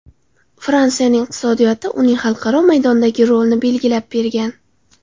Fransiyaning iqtisodiyoti uning xalqaro maydondagi rolini belgilab bergan.